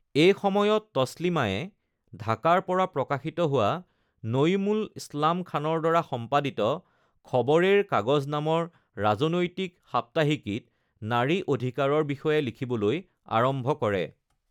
এইসময়ত তছলিমায়ে ঢাকাৰ পৰা প্ৰকাশিত হোৱা নঈমুল ইছলাম খানৰ দ্বাৰা সম্পাদিত খবৰেৰ কাগজ নামৰ ৰাজনৈতিক সাপ্তাহিকীত নাৰী অধিকাৰৰ বিষয়ে লিখিবলৈ আৰম্ভ কৰে।